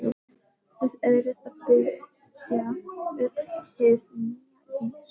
Þið eruð að byggja upp hið nýja Ís